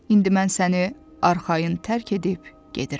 İndi mən səni arxayın tərk edib gedirəm.